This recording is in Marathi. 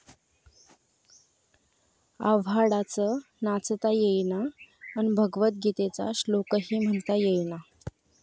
आव्हाडांचं 'नाचता येईना...'अन् भगवत गीतेचा श्लोकही म्हणता येईना!